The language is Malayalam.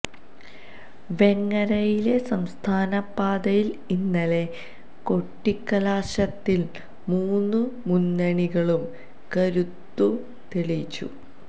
വേങ്ങരയിലെ സംസ്ഥാന പാതയിൽ ഇന്നലെ കൊട്ടിക്കലാശത്തിൽ മൂന്നു മുന്നണികളും കരുത്തു തെളിയിച്ചു